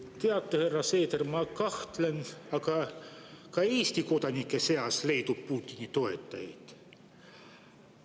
Teate, härra Seeder, ma kahtlustan, et ka Eesti kodanike seas leidub Putini toetajaid.